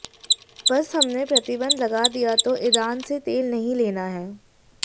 बस हमने प्रतिबंध लगा दिया तो ईरान से तेल नहीं लेना है